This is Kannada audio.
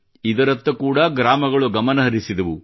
ಇದರತ್ತ ಕೂಡ ಗ್ರಾಮಗಳು ಗಮನಹರಿಸಿದವು